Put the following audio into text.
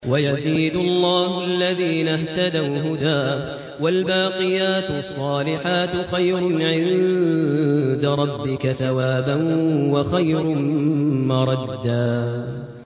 وَيَزِيدُ اللَّهُ الَّذِينَ اهْتَدَوْا هُدًى ۗ وَالْبَاقِيَاتُ الصَّالِحَاتُ خَيْرٌ عِندَ رَبِّكَ ثَوَابًا وَخَيْرٌ مَّرَدًّا